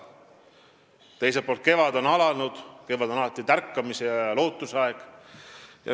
Teiselt poolt, kevad on alanud ja kevad on alati tärkamise ja lootuse aeg.